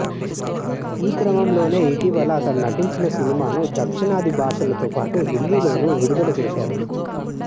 ఈ క్రమంలోనే ఇటీవల అతడు నటించిన సినిమాను దక్షిణాది భాషలతో పాటు హిందీలోనూ విడుదల చేశారు